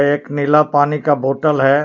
एक नीला पानी का बॉटल है।